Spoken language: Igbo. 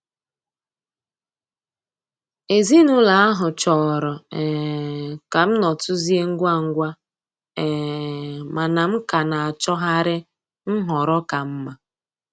Ezinụlọ ahụ chọrọ um ka m nọtuzie ngwa ngwa, um mana m ka na-achọgharị nhọrọ ka mma.